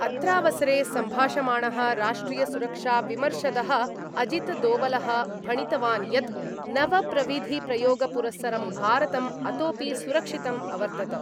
अत्रावसरे सम्भाषमाणः राष्ट्रियसुरक्षाविमर्शदः अजितदोवलः भणितवान् यत् नवप्रविधिप्रयोगपुरस्सरं भारतम् अतोऽपि सुरक्षितम् अवर्तत।